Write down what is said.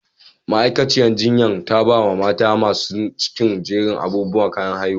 Ma'aikaciyar jinyan ta ba ma mata masun cikin jerin abubuwa na kayan haihuwa.